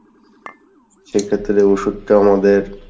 সেক্ষেত্রে ওষুধ টা আমাদের